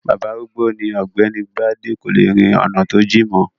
Bàbá arúgbó ni ọ̀gbẹ́ni bádé, kò le rin ọ̀nà tó jìn mọ́.